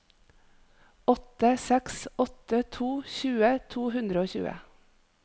åtte seks åtte to tjue to hundre og tjue